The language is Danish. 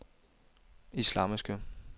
islamiske